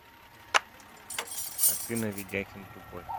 афина ведяхин тупой